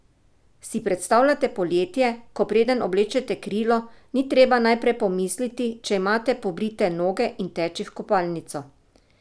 Si predstavljate poletje, ko preden oblečete krilo, ni treba najprej pomisliti, če imate pobrite noge in teči v kopalnico?